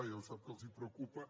ja ho sap que els preocupa